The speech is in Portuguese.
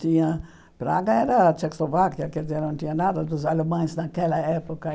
Tinha Praga era a Tchecoslováquia, quer dizer, não tinha nada dos alemães naquela época.